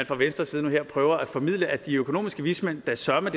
fra venstres side nu her prøver at formidle at de økonomiske vismænd da søreme